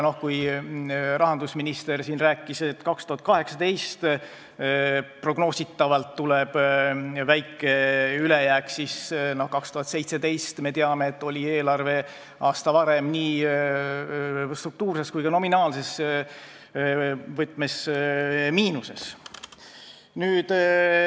Rahandusminister rääkis siin, et 2018. aastal tuleb prognoosi järgi väike ülejääk, aga me teame, et aasta varem, 2017, oli eelarve nii struktuurses kui ka nominaalses miinuses.